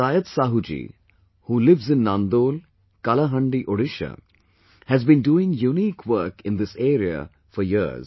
Patayat Sahu ji, who lives in Nandol, Kalahandi, Odisha, has been doing unique work in this area for years